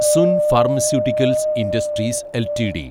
Sun pharmaceuticals industries LTD